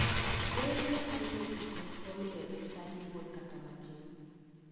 Deye matindegi ok omiyo jochadi luor kata matin.